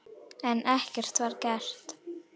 En ekkert var gert.